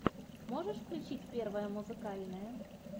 можешь включить первое музыкальное